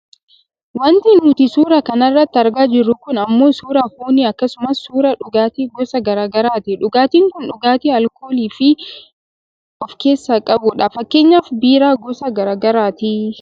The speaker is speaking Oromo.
Wanti nuti suuraa kana irratti argaa jirru kun ammoo suuraa foonii akkasumas suuraa dhugaatii gosa gara garaati. Dhugaatiin kun dhugaatii aalkoolii of keessaa qabu dha. Fakkeenyaaf biiraa gosa gara garaati.